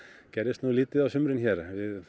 gerðist nú lítið á sumrin hér